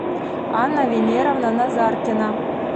анна венеровна назаркина